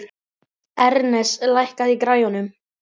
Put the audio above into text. Ernest, lækkaðu í græjunum.